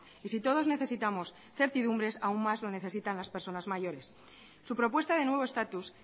y si todos necesitamos certidumbre aún más lo necesitan las personas mayores su propuesta de nuevo estatus